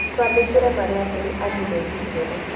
Twandĩkĩre marũa kũrĩ andirethi njerũ